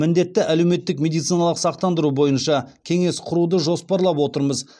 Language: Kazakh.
міндетті әлеуметтік медициналық сақтандыру бойынша кеңес құруды жоспарлап отырмыз